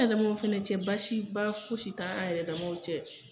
An yɛrɛdamaw fana cɛ baasi ba foyi si t' a n yɛrɛ damaw cɛ.